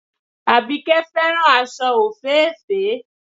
Àbíkẹ́ fẹ́ràn aṣọ òféèfé